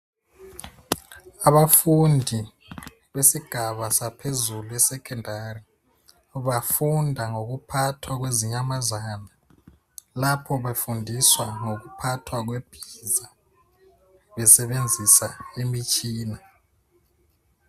Abafundi besigaba saphezulu, esecondary, bafunda ngokuphathwa kwezinyamazana. Lapha befundiswa ngokuphathwa kwebhiza. Besebenzisa imitshina.